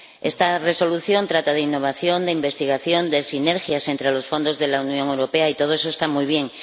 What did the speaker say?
Esta Resolución trata de innovación, de investigación, de sinergias entre los fondos de la Unión Europea, y todo eso está muy bien.